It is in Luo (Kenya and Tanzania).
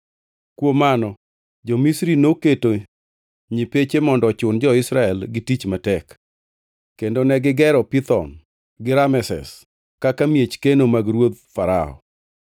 Kuom mano, jo-Misri noketo nyipeche mondo ochun jo-Israel gi tich matek, kendo negigero Pithom gi Rameses kaka miech keno mag ruoth Farao.